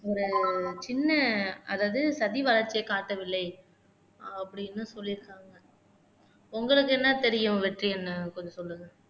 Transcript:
ஒரு சின்ன அதாவது சதி வளர்ச்சி காட்டவில்லை அப்படின்னு சொல்லிருக்காங்க உங்களுக்கு என்ன தெரியும்? வெற்றி அண்ணா கொஞ்சம் சொல்லுங்க